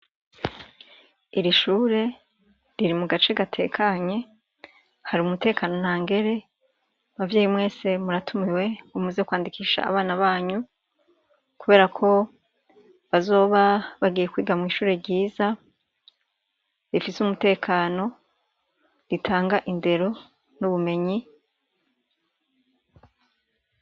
Iri shure riri mu gace gatekanye hari umutekano nta ngere bavyeyi mwese muratumiwe umuze kwandikisha abana banyu kubera ko bazoba bagiye kwiga mu ishure ryiza bifise umutekano ritanga indero n'ubumenyi.